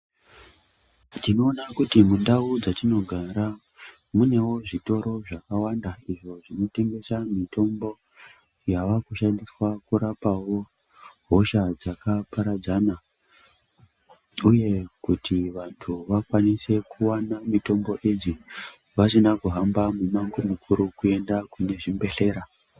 Tinoda kuti mundau dzatinogara munewo zvitoro zvakawanda izvo zvinotengesa mitombo yavakushandiswa kurapawo hosha dzakaparadzana uye kuti vantu vakwanise kuwana mitombo idzi vasina kuhamba mumango mukuru kuenda kune zvibhedhlera.